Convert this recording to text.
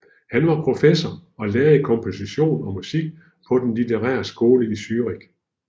Han var professor og lærer i kompostion og musik på den Litterære Skole I Zürich